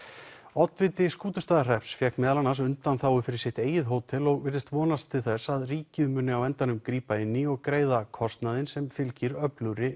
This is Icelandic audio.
oddviti Skútustaðahrepps fékk meðal annars undanþágu fyrir sitt eigið hótel og virðist vonast til þess að ríkið muni á endanum grípa inn í og greiða kostnaðinn sem fylgir öflugri